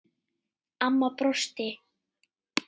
Amma brosti.